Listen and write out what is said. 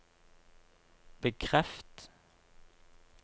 bekreft